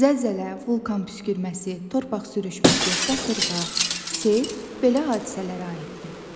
Zəlzələ, vulkan püskürməsi, torpaq sürüşməsi, qasırğa, sel belə hadisələrə aiddir.